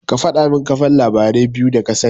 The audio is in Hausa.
Ka faɗamin kafan labarai biyu da kasani.